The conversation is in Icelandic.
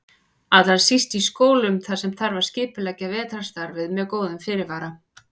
Allra síst í skólum þar sem þarf að skipuleggja vetrarstarfið með góðum fyrirvara.